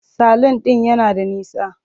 Salun ɗin yana da nisa.